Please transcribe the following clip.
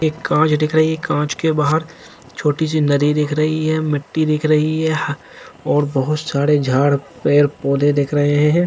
एक कांच दिख रही है कांच के बहार छोटी सी नदी दिख रही है मिट्टी दिख रही है और बहुत सारे झाड़ पेड़ पौधे दिख रहे है।